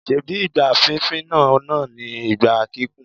Ṣebí igbá fínfín náà náà ni igbá kíkùn?